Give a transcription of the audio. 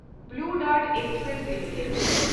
blue Dart Express limited